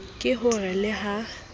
ke ho re le ha